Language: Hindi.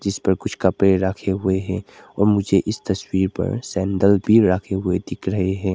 इस पर कुछ कपड़े रखे हुए हैं और मुझे इस तस्वीर पर सैंडल भी रखे हुए दिख रहे हैं।